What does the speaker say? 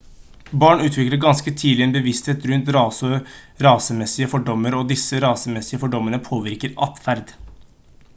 barn utvikler ganske tidlig en bevissthet rundt rase og rasemessige fordommer og disse rasemessige fordommene påvirker adferd